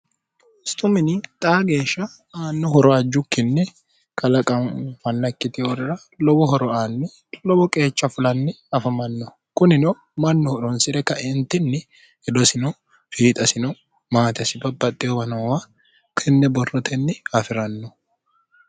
stumini xaa geeshsha aanno horo ajjukkinni kalaqa fannakkiti hoorira lowo horo aanni lowo qeecha fulanni afamanno kunino mannuhu ronsi're kaeentinni hidosino fiixasino maatesi baaxxehobanoowa kinne borrotenni hafi'ranno